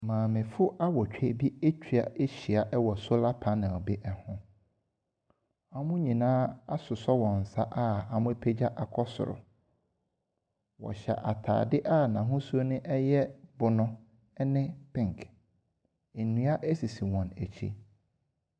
Maamefoɔ awotwe bi atwa ehyia wɔ solar panel bi ho. Wɔn nyinaa asosɔ wɔn nsa a wɔapagya akɔ soro. Wɔhyɛ atadeɛ a n'ahusuo no yɛ bunu ne pink. Nnua sisi wɔn akyi.